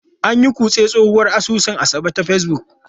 An yi kutse a tsohuwar asusun Asabe ta Facebook.